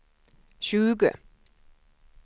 tjugo